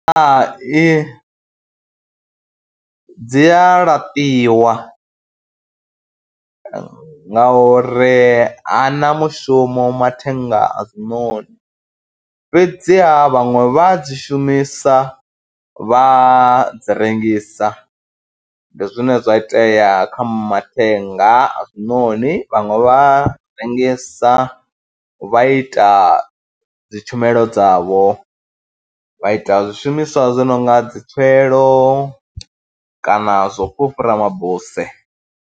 Hai dzi a laṱiwa ngauri ha na mushumo mathenga a zwinoni fhedziha vhaṅwe vha dzi shumisa, vha dzi rengisa. Ndi zwine zwa itea kha mathenga a zwinoni, vhaṅwe vha rengisa vha ita dzi tshumelo dzavho, vha ita zwishumiswa zwi no nga dzi tswielo kana zwo fhufhura mabuse.